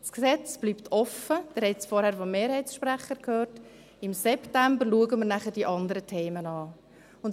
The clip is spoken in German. Das Gesetz bleibt geöffnet – Sie haben es vorhin vom Mehrheitssprecher gehört –, und die anderen Themen schauen wir dann im September an.